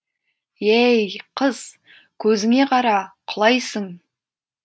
ей қыз көзіңе қара құлайсың